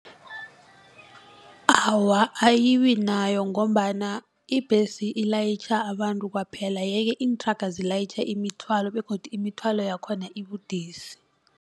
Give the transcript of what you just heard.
Awa ayibinayo ngombana ibhesi ilayitjha abantu kwaphela yeke iinthraga zilayitjha imithwalo begodu imithwalo yakhona ibudisi.